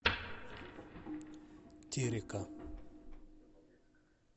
терека